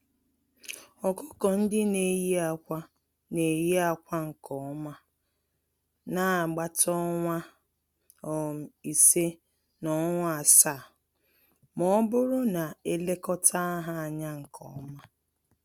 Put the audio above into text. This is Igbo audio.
Ọkụkọ-ndị-neyi-ákwà n'eyi ákwà nkè ọma nagbata ọnwa um ise, na ọnwa asaá, mọbụrụ na elekọta ha ányá nke ọma.